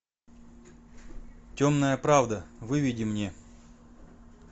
темная правда выведи мне